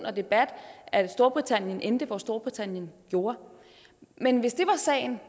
og debat at storbritannien endte hvor storbritannien gjorde men hvis det var sagen